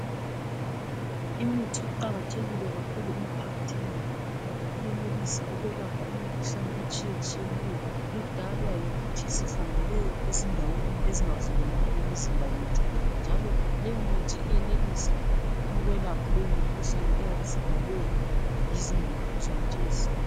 imithi iqakathekile kakhulu emphakathini ngoba iyenelisa ukwelapha imikhuhlane etshiyetshiyeneyo edalwa yikuthi sihambele ezindaweni ezingavumelani lemizimba yethu njalo leyo mithi iyenelisa ukwelapha leyo mikhuhlane eyabe isidalwe yizindawo zonalez